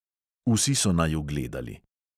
Vsi so naju gledali.